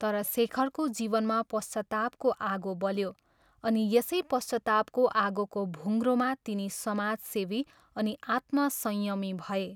तर शेखरको जीवनमा पश्चातापको आगो बल्यो अनि यसै पश्चातापको आगोको भुङ्ग्रोमा तिनी समाजसेवी अनि आत्म संयमी भए।